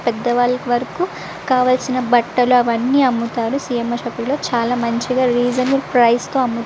పెద్దవాళ్ల వరకు కావలసిన బట్టలు అవన్నీ అమ్ముతారు సి.మ్.ర్. షాప్ లో చాలా మంచిగా రీసన్ ప్రిస్ తో --